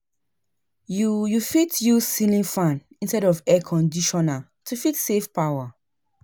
You You fit use ceiling fan istead of Air Conditioner to fit save power